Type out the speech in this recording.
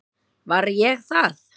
Var ég það?